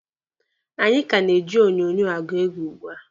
Anyị ka na-eji onyonyo agụ oge ugbua.